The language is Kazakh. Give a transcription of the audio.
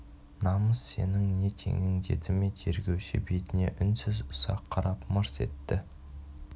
намыс сенің не теңің деді ме тергеуші бетіне үнсіз ұзақ қарап мырс етті